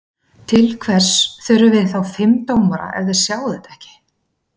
Til hvers þurfum við þá fimm dómara ef þeir sjá þetta ekki?